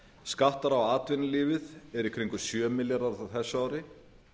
skattar á atvinnulífið eru í kringum sjö milljarðar á þessu ári